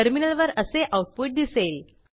टर्मिनलवर असे आऊटपुट दिसेल